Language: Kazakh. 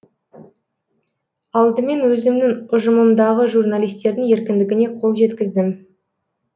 алдымен өзімнің ұжымымдағы журналистердің еркіндігіне қол жеткіздім